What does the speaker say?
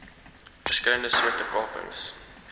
verskillende soorte kapings